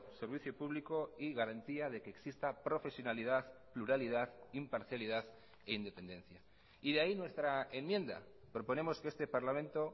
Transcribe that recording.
servicio público y garantía de que exista profesionalidad pluralidad imparcialidad e independencia y de ahí nuestra enmienda proponemos que este parlamento